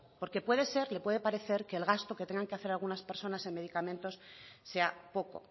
porque puede ser le puede parecer que el gasto que tengan que hacer algunas personas en medicamentos sea poco